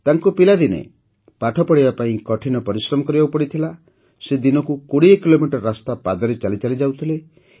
ତାଙ୍କୁ ପିଲାଦିନେ ପାଠ ପଢ଼ିବା ପାଇଁ କଠିନ ପରିଶ୍ରମ କରିବାକୁ ପଡିଥିଲା ସେ ଦିନକୁ ୨୦ କିଲୋମିଟର ରାସ୍ତା ପାଦରେ ଚାଲି ଚାଲି ଯାଉଥିଲେ